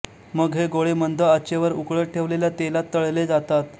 मग हे गोळे मंद आचेवर उकळत ठेवलेल्या तेलात तळले जातात